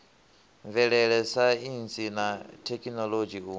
mvelele saintsi na thekhinoḽodzhi u